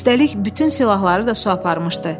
Üstəlik, bütün silahları da su aparmışdı.